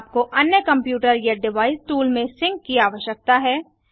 आपको अन्य कंप्यूटर या डिवाइस टूल में सिंक की आवश्यकता है